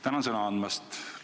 Tänan sõna andmast!